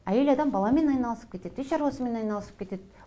әйел адам баламен айналысып кетеді үй шаруасымен айналысып кетеді